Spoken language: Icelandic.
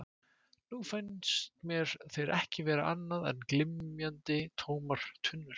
Nú fannst mér þeir ekki vera annað en glymjandi, tómar tunnur.